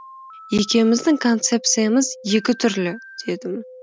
екеуміздің концепциямыз екі түрлі дедім